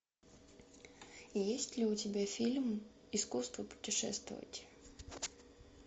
есть ли у тебя фильм искусство путешествовать